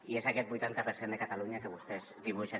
i és aquest vuitanta per cent de catalunya que vostès dibuixen